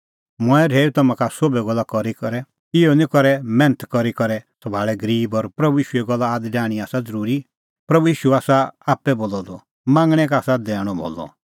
मंऐं रहैऊई तम्हां का सोभै गल्ला करी करै कि इहअ करै मैन्थ करी सभाल़णैं गरीब और प्रभू ईशूए गल्ला आद डाहणीं आसा ज़रूरी प्रभू ईशू आसा आप्पै बोलअ द मांगणैं का आसा दैणअ भलअ